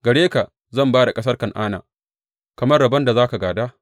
Gare ka zan ba da ƙasar Kan’ana kamar rabon da za ka gāda.